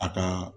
A ka